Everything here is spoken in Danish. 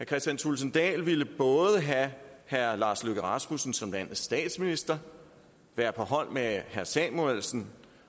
kristian thulesen dahl ville både have herre lars løkke rasmussen som landets statsminister være på hold med herre anders samuelsen